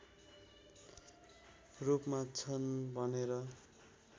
रूपमा छन् भनेर